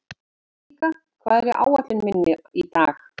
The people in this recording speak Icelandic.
Enika, hvað er á áætluninni minni í dag?